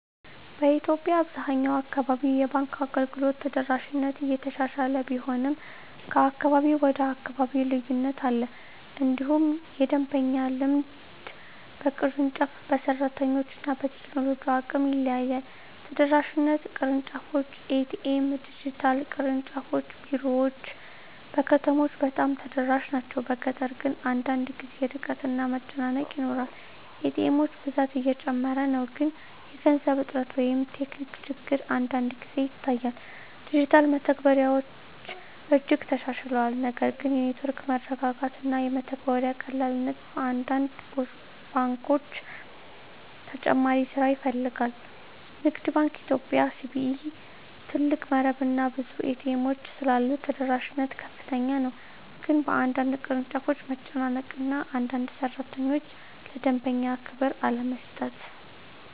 በኢትዮጵያ አብዛኛው አካባቢ የባንክ አገልግሎት ተደራሽነት እየተሻሻለ ቢሆንም ከአካባቢ ወደ አካባቢ ልዩነት አለ። እንዲሁም የደንበኛ ልምድ በቅርንጫፍ፣ በሰራተኞች እና በቴክኖሎጂ አቅም ይለያያል። ተደራሽነት (ቅርንጫፎች፣ ኤ.ቲ.ኤም፣ ዲጂታል) ቅርንጫፍ ቢሮዎች በከተሞች በጣም ተደራሽ ናቸው፤ በገጠር ግን አንዳንድ ጊዜ ርቀት እና መጨናነቅ ይኖራል። ኤ.ቲ. ኤሞች ብዛት እየጨመረ ነው፣ ግን የገንዘብ እጥረት ወይም ቴክኒክ ችግር አንዳንድ ጊዜ ይታያል። ዲጂታል መተግበሪያዎች እጅግ ተሻሽለዋል፣ ነገር ግን የኔትወርክ መረጋጋት እና የመተግበሪያ ቀላልነት በአንዳንድ ባንኮች ተጨማሪ ስራ ይፈልጋል። ንግድ ባንክ ኢትዮጵያ (CBE) ትልቅ መረብ እና ብዙ ኤ.ቲ. ኤሞች ስላሉት ተደራሽነት ከፍተኛ ነው፤ ግን በአንዳንድ ቅርንጫፎች መጨናነቅ እና አንዳንድ ሠራተኞች ለደንበኛ ክብር አለመስጠት